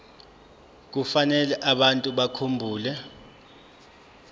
kufanele abantu bakhumbule